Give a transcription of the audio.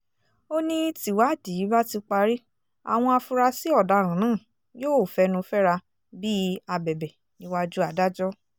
ó ní tìwádìí bá ti parí àwọn afurasí ọ̀daràn náà yóò fẹnu fẹ́ra bíi abẹbẹ́bẹ́ níwájú adájọ́